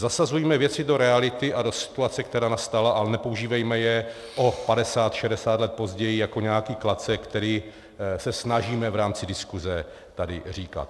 Zasazujme věci do reality a do situace, která nastala, ale nepoužívejme je o 50, 60 let později jako nějaký klacek, který se snažíme v rámci diskuse tady říkat.